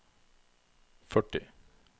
førti